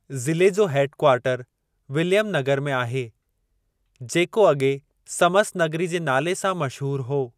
ज़िले जो head quarter Williamnagar में आहे, जेको अॻे समसनगरी जे नाले सां मशहूरु हो।